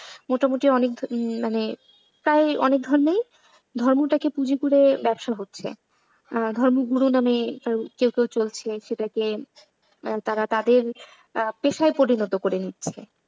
মোটামুটি অনেকে মানে তাই অনেক ধর্মে ধর্মটাকে পুঁজি করে ব্যবসা হচ্ছে। ধর্মগুরুর নামে কেউ কেউ চলেছে আর সেটাকে তারা তাদের পেশায় পরিণত করে নিচ্ছে।